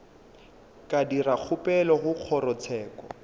ka dira kgopelo go kgorotsheko